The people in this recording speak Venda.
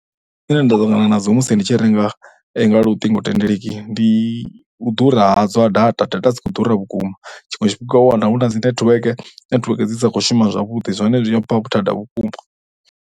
Thaidzo dzine nda ḓo ṱangana nadzo musi ndi tshi renga nga luṱingothendeleki ndi u ḓura ha dza data, data dzi kho ḓura vhukuma tshiṅwe tshifhinga u ya wana hu na dzi netiweke, netiweke dzi sa khou shuma zwavhuḓi zwine zwi a mpha vhuthada vhukuma.